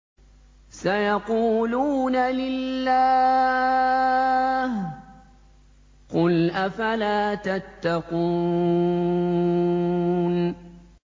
سَيَقُولُونَ لِلَّهِ ۚ قُلْ أَفَلَا تَتَّقُونَ